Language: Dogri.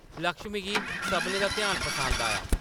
लक्ष्मी गी सभनें दा ध्यान पसंद आया ।